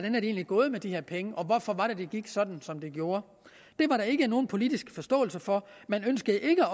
gået med de her penge og hvorfor det gik sådan som det gjorde det var der ikke nogen politisk forståelse for man ønskede ikke